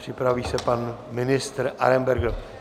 Připraví se pan ministr Arenberger.